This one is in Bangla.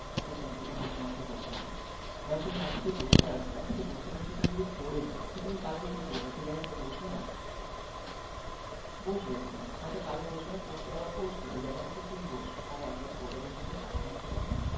একটা simple জিনিস তোমাকে বলে থাকি, ধরো তুমি আজকে বসে আছো আজকে বসে বসে যদি তুমি যদি পড়ে যাও তুমি কি করবে কালকে সেই জায়গাটাতে বসবে না বসবে তুমি হয়তো কাল বসবে না পরশু আবার বসবে অই জায়গাটাতে তুমি বসবে আবার আরে একবার পড়ে গেছোতো সাবধান ছিলাম না